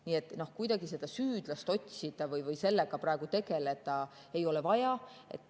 Nii et kuidagi seda süüdlast otsida või sellega praegu tegeleda ei ole vaja.